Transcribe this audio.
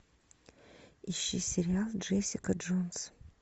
ищи сериал джессика джонс